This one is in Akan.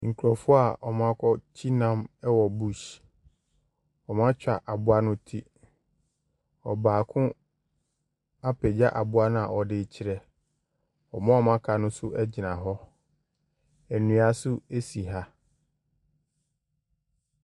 Nkurofo a ɔmo akɔ kye nam ɛwɔ bush. Ɔmo atwa aboa no ti. Ɔbaako apagya aboa no a ɔde ne kyerɛ. Ɔmo a ɔmo aka no so agyina hɔ. Ɛnua so asi ha.